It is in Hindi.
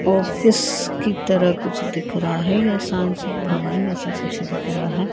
ऑफिस की तरह कुछ दिख रहा है या संसद भवन जैसा कुछ दिख रहा है।